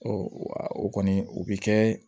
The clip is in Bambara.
o kɔni o bɛ kɛ